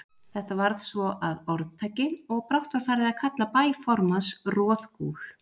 Þetta varð svo að orðtaki, og brátt var farið að kalla bæ formanns Roðgúl.